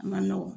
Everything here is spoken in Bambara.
A man nɔgɔn